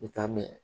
I t'a mɛn